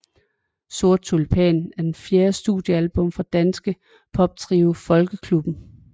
Sort Tulipan er det fjerde studiealbum fra danske poptrio Folkeklubben